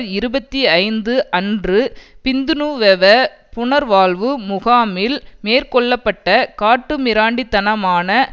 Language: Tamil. இருபத்தி ஐந்து அன்று பிந்துனுவெவ புனர்வாழ்வு முகாமில் மேற்கொள்ள பட்ட காட்டுமிராண்டி தனமான